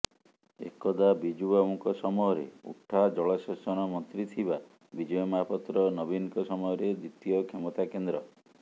ଏକଦା ବିଜୁବାବୁଙ୍କ ସମୟରେ ଉଠା ଜଳସେଚନ ମନ୍ତ୍ରୀ ଥିବା ବିଜୟ ମହାପାତ୍ର ନବୀନଙ୍କ ସମୟରେ ଦ୍ବିତୀୟ କ୍ଷମତା କେନ୍ଦ୍ର